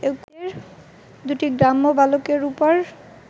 দুটি গ্রাম্য বালকের ওপর